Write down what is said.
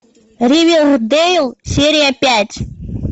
ривердэйл серия пять